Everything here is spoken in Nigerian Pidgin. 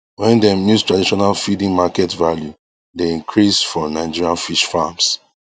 wen dem use traditional feeding market value dey increase for nigerian fish farms